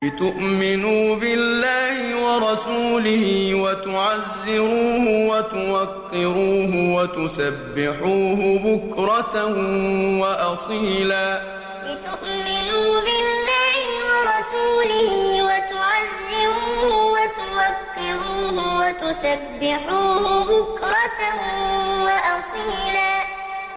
لِّتُؤْمِنُوا بِاللَّهِ وَرَسُولِهِ وَتُعَزِّرُوهُ وَتُوَقِّرُوهُ وَتُسَبِّحُوهُ بُكْرَةً وَأَصِيلًا لِّتُؤْمِنُوا بِاللَّهِ وَرَسُولِهِ وَتُعَزِّرُوهُ وَتُوَقِّرُوهُ وَتُسَبِّحُوهُ بُكْرَةً وَأَصِيلًا